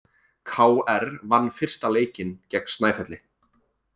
KR vann fyrsta leikinn gegn Snæfelli